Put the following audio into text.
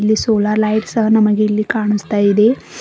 Solar light ಸಹ ನಮಗೆ ಇಲ್ಲಿ ಕಾಣಿಸ್ತಾ ಇದೆ.